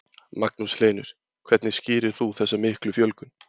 Magnús Hlynur: Hvernig skýrir þú þessa miklu fjölgun?